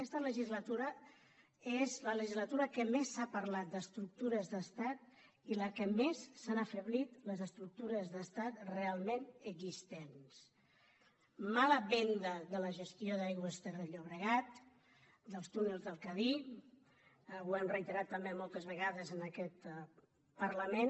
aquesta legislatura és la legislatura que més s’ha parlat d’estructures d’estat i en què més s’han afeblit les estructures d’estat realment existents mala venda de la gestió d’aigües ter llobregat dels túnels del cadí ho hem reiterat també moltes vegades en aquest parlament